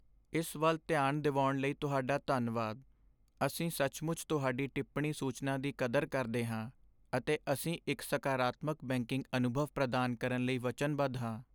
ਇਸ ਵੱਲ ਧਿਆਨ ਦਿਵਾਉਣ ਲਈ ਤੁਹਾਡਾ ਧੰਨਵਾਦ। ਅਸੀਂ ਸੱਚਮੁੱਚ ਤੁਹਾਡੀ ਟਿੱਪਣੀ ਸੂਚਨਾ ਦੀ ਕਦਰ ਕਰਦੇ ਹਾਂ, ਅਤੇ ਅਸੀਂ ਇੱਕ ਸਕਾਰਾਤਮਕ ਬੈਂਕਿੰਗ ਅਨੁਭਵ ਪ੍ਰਦਾਨ ਕਰਨ ਲਈ ਵਚਨਬੱਧ ਹਾਂ।